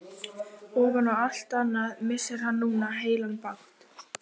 Ofan á allt annað missir hann núna heilan bát.